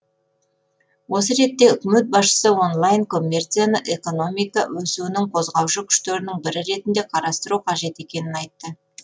осы ретте үкімет басшысы онлайн коммерцияны экономика өсуінің қозғаушы күштерінің бірі ретінде қарастыру қажет екенін айтты